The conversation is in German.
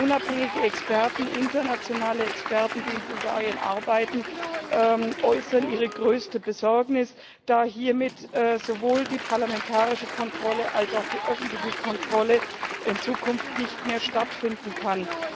Unabhängige internationale Experten, die in Bulgarien arbeiten, äußern ihre größte Besorgnis, da hiermit sowohl die parlamentarische Kontrolle als auch die öffentliche Kontrolle in Zukunft nicht mehr stattfinden kann.